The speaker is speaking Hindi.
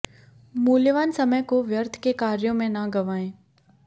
मूल्यवान समय को व्यर्थ के कायार्ें में न गंवायें